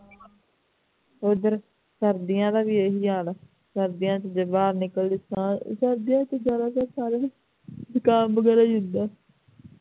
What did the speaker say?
ਉਦਰ ਸਰਦੀਆਂ ਦਾ ਵੀ ਇਹੀ ਹਾਲ ਆ ਸਰਦੀਆਂ ਦੇ ਵਿਚ ਜ਼ੁਬਾਨ ਨਿਕਲਣ ਦੀ ਥਾਂ ਸਰਦੀਆਂ ਚ ਸਾਰਿਆਂ ਨੂੰ ਜੁਕਾਮ ਵਗੈਰਾ ਵੀ ਹੁੰਦਾ ਹੈ